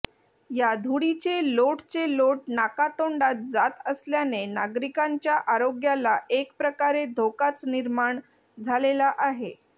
या धुळीचे लोटचे लोट नाकातोंडात जात असल्याने नागरिकांच्या आरोग्याला एक प्रकारे धोकाच निर्माण झालेला आहे